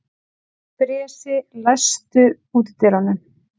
Bresi, læstu útidyrunum.